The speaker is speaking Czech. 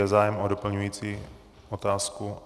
Je zájem o doplňující otázku?